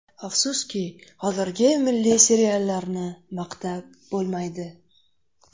Afsuski, hozirgi milliy seriallarni maqtab bo‘lmaydi.